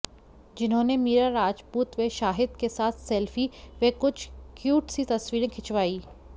जिन्होंने मीरा राजपूत व शाहिद के साथ सेल्फी व कुछ क्यूट सी तस्वीरें खिंचवाईं